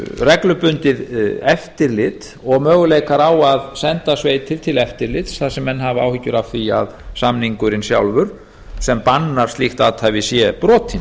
reglubundið eftirlit og möguleikar á að senda sveitir til eftirlits þar sem menn hafa áhyggjur af því að samningurinn sjálfur sem bannar slíkt athæfi sé brotinn